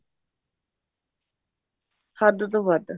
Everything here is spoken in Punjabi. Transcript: ਹੱਦ ਤੋਂ ਵੱਧ